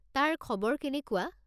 তাৰ খবৰ কেনেকুৱা?